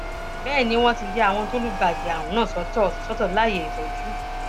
bẹẹ ni wọn ti ya àwọn tó lùgbàdì àrùn náà sọtọ sọtọ láàyè ìtọjú